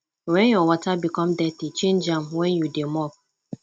wen your water become dirty change am wen you dey mop